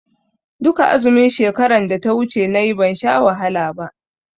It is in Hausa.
Duka azumin shekaran da ta wuce nayi ban sha wahala ba.